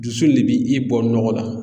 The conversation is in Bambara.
Dusu de bi i bɔ nɔgɔ la.